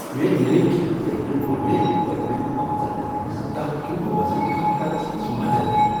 میٲنۍ نٔوۍ كھینہٕ طریقن كو٘ر مےٚ پٔتمین پانژَن ریتن منز دَہ کلو وزن کم کرنس منز مدد۔